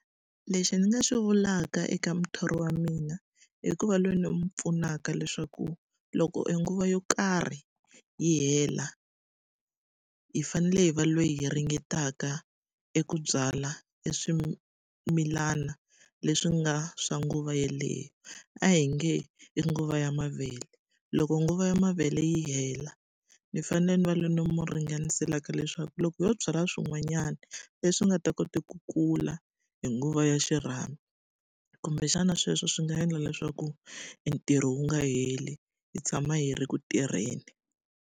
Lexi ndzi nga swi vulaka eka muthori wa mina i ku va loyi ni n'wi pfunaka leswaku loko e nguva yo karhi yi hela, hi fanele hi va loyi hi ringetaka eku byala e swimilana leswi nga swa nguva yeleyo. A hi nge i nguva ya mavele, loko nguva ya mavele yi hela, ni fanele ni va loyi ni n'wi ringaniselaka leswaku loko ho byala swin'wanyana leswi nga ta kota ku kula hi nguva ya xirhami, kumbexana sweswo swi nga endla leswaku e ntirho wu nga heli. Hi tshama yi ri ku tirheni.